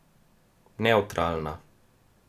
Nevtralna.